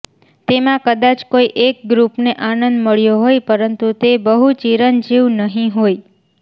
તેમાં કદાચ કોઈ એક ગ્રુપને આનંદ મળ્યો હોય પરંતુ તે બહુ ચિરંજીવ નહીં હોય